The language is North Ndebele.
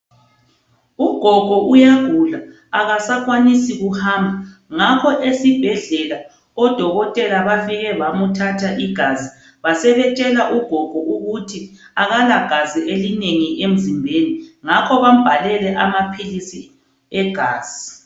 Ugogo uyagula akasakwanisi kuhamba. Ngakho esibhedlela odokotela bafike bamthatha igazi. Basebetshela ogogo ukuthi akalagazi elinengi emzimbeni. Ngakho bambhalele amaphilisi egazi.